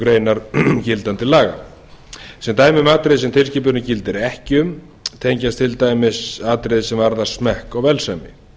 grein gildandi laga sem dæmi um atriði sem tilskipunin gildir ekki um tengjast til dæmis atriði sem varða smekk og velsæmi